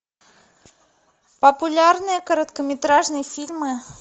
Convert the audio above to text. популярные короткометражные фильмы